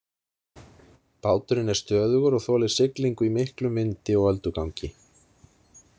Báturinn er stöðugur og þolir siglingu í miklum vindi og öldugangi.